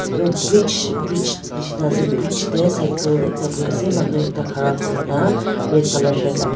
etu bridge bridge nisna ase bridge teh cycle ekta bohi ase manu ekta khara kuri na red colour shirt lagai--